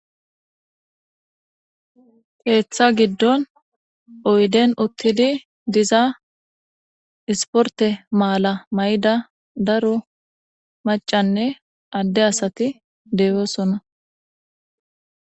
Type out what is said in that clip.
keeththa giddon oyden uttidi diza isporte maala mayida daro macanne adde asati de'osona